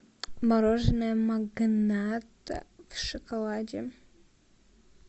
мороженое магнат в шоколаде